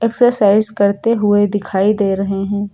Exercise करते हुए दिखाई दे रहे हैं।